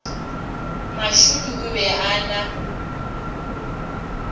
mashudu o be a na